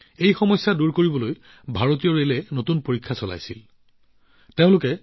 এই সমস্যা দূৰ কৰিবলৈ ভাৰতীয় ৰেলৱেই এটা নতুন পৰীক্ষা কৰিলে